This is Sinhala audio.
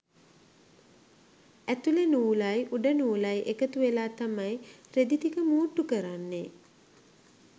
ඇතුළේ නූලයි උඩ නූලයි එකතුවෙලා තමයි රෙදි ටික මූට්ටු කරන්නේ.